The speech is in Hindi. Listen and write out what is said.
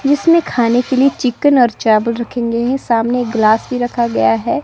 जिसमें खाने के लिए चिकन और चावल रखे गए हैं। सामने एक ग्लास भी रखा गया हैं।